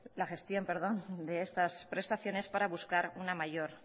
la gestión de estas prestaciones para buscar una mayor